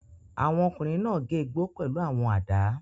Àwọn ọkùnrin náà gé igbó pẹ̀lú àwọn àdá.